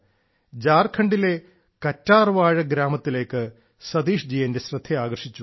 ജാർഖണ്ഡിലെ ഒരു കറ്റാർവാഴ ഗ്രാമത്തിലേക്ക് ശ്രീ സതീഷ് എന്റെ ശ്രദ്ധ ആകർഷിച്ചു